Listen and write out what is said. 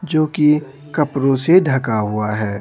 जो कि कपड़ों से ढका हुआ है।